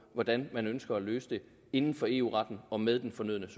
hvordan man ønsker at løse det inden for eu retten og med den fornødne